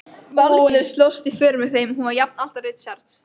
Valgerður slóst í för með þeim, hún var jafnaldra Richards.